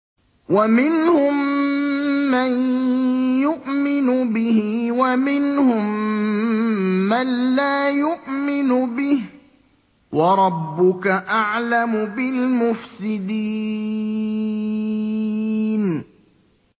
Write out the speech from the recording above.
وَمِنْهُم مَّن يُؤْمِنُ بِهِ وَمِنْهُم مَّن لَّا يُؤْمِنُ بِهِ ۚ وَرَبُّكَ أَعْلَمُ بِالْمُفْسِدِينَ